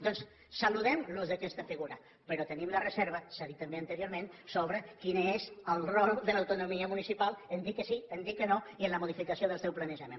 doncs saludem l’ús d’aquesta figura però tenim la reserva s’ha dit també anteriorment sobre quin és el rol de l’autonomia municipal en dir que sí en dir que no i en la modificació del seu planejament